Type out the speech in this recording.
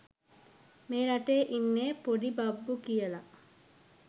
මේ රටේ ඉන්නේ පොඩි බබ්බු කියල